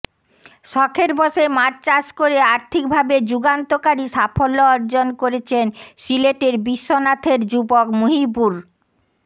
শখের বসে মাছ চাষ করে আর্থিকভাবে যুগান্তকারী সাফল্য অর্জন করেছেন সিলেটের বিশ্বনাথের যুবক মুহিবুর র